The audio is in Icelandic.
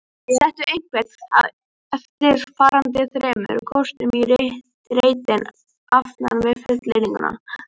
Settu einhvern af eftirfarandi þremur kostum í reitinn aftan við fullyrðinguna